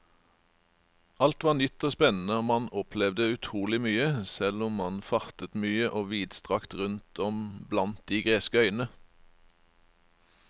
Alt var nytt og spennende og man opplevde utrolig mye, selv om man fartet mye og vidstrakt rundt om blant de greske øyene.